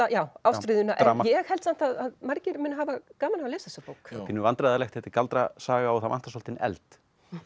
já ástríðuna ég held samt að margir muni hafa gaman af að lesa þessa bók pínu vandræðalegt að þetta er galdrasaga og það vantar svolítinn eld